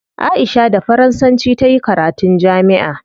Aisha da faransanci tayi karatun jami'a